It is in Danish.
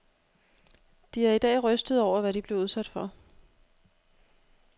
De er i dag rystede over, hvad de blev udsat for.